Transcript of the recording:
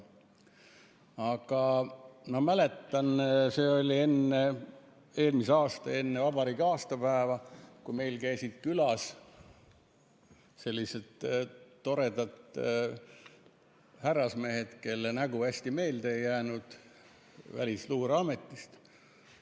Aga ma mäletan, et see oli eelmisel aastal enne vabariigi aastapäeva, kui meil käisid külas sellised toredad härrasmehed, kelle nägu hästi meelde ei jäänud, Välisluureametist.